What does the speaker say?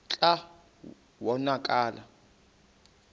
kclta wa konakala